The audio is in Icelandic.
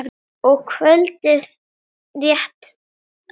og kvöldið rétt að byrja!